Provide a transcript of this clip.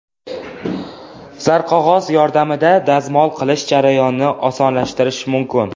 Zarqog‘oz yordamida dazmol qilish jarayonini osonlashtirish mumkin .